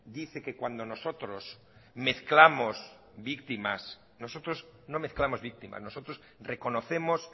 dice que cuando nosotros mezclamos víctimas nosotros no mezclamos víctimas nosotros reconocemos